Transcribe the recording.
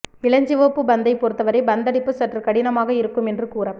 இளஞ்சிவப்பு பந்தைப் பொறுத்தவரை பந்தடிப்பு சற்று கடினமாக இருக்கும் என்று கூறப்